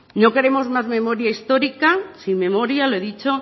no queremos más memoria histórica sin memoria lo he dicho